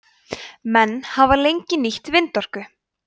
menn hafa lengi nýtt vindorku